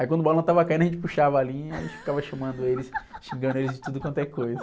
Aí quando o balão estava caindo a gente puxava a linha e ficava chamando eles, xingando eles de tudo quanto é coisa.